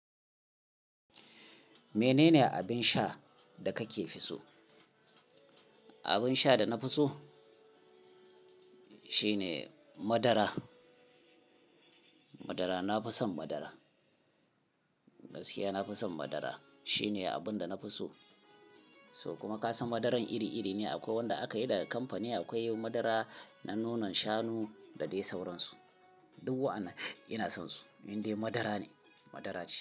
Menene abin sha da kake fi so? Abin sha da na fi so shine madara. Madara, na fi son madara. Gaskiya na fi son madara. Shine abin da na fi so. So kuma ka san madaran iri-iri ne akwai wanda aka yi daga kamfani akwai madara na nonon shanu da dai sauransu. Duk wa'ana ina son su, indai madara ne, madara ce.